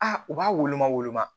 Aa u b'a woloma woloma